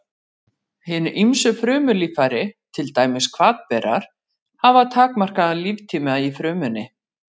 Hin ýmsu frumulíffæri, til dæmis hvatberar, hafa takmarkaðan líftíma í frumunni.